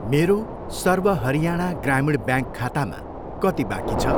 मेरो सर्व हरियाणा ग्रामीण ब्याङ्क खातामा कति बाँकी छ?